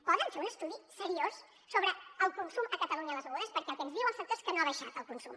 poden fer un estudi seriós sobre el consum a catalunya de les begudes perquè el que ens diu el sector és que no ha baixat el consum